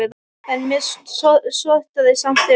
En mér sortnaði samt fyrir augum.